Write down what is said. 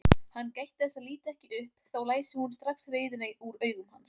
Hann gætti þess að líta ekki upp, þá læsi hún strax reiðina úr augum hans.